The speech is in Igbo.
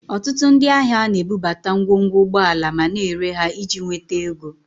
Ọtụtụ ndị ahịa na-ebubata ngwongwo ụgbọala ma na-ere ha iji nweta ego